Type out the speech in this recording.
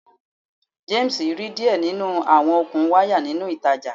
James ri diẹ ninu awọn okun waya ninu itaja